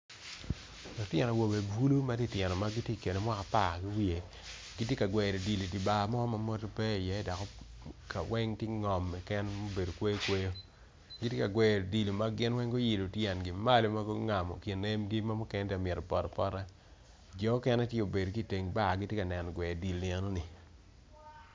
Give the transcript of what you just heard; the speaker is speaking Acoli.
Lutino awobe bulu matinotino ma gitye ikine ka mwaka apar ki wiye gitye ka gweyo odilo i bar mo ma mwodo pe iye dok kaweng tye ngom keken ma obedo kweyo kweyo gitye ka gweyo odilo ma gin weng guiolo tyengi malo ma gungamo kin emgi ma mukene tye ka migto poto apota jo mukene tye gubedo ki teng bar gitye ka neno gweyo odilo lienoni.